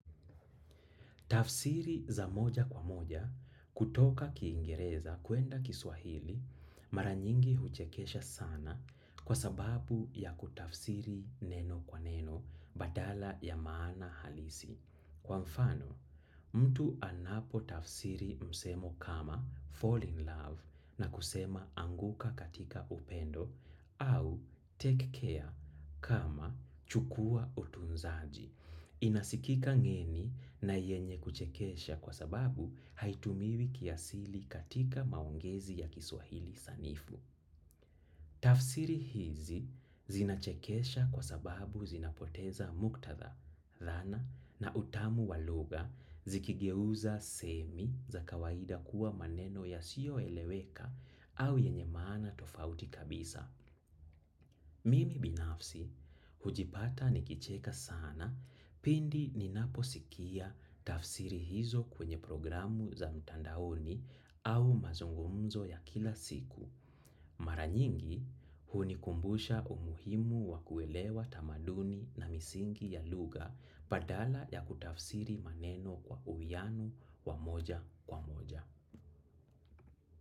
Tafsiri za moja kwa moja, kutoka kingereza, kuenda kiswahili, mara nyingi huchekesha sana kwa sababu ya kutafsiri neno kwa neno, badala ya maana halisi. Kwa mfano, mtu anapo tafsiri msemo kama fall in love na kusema anguka katika upendo au take care kama chukua utunzaji. Inasikika ngeni na yenye kuchekesha kwa sababu haitumiwi kiasili katika maongezi ya kiswahili sanifu. Tafsiri hizi zinachekesha kwa sababu zinapoteza muktatha, dhana na utamu wa lugha zikigeuza semi za kawaida kuwa maneno ya siyo eleweka au yenye maana tofauti kabisa. Mimi binafsi, hujipata nikicheka sana pindi ninaposikia tafsiri hizo kwenye programu za mtandaoni au mazungumzo ya kila siku. Mara nyingi, hunikumbusha umuhimu wa kuelewa tamaduni na misingi ya lugha badala ya kutafsiri maneno kwa uwiano wa moja kwa moja.